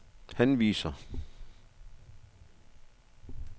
henviser